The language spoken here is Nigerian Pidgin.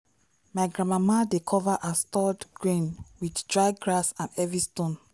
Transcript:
my grandmama dey cover her stored grain with dry grass and heavy stone.